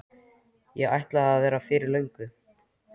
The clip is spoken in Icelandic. Ég ætlaði að vera fyrir löngu.